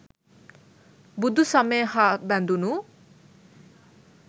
බුදුසමය හා බැඳුනු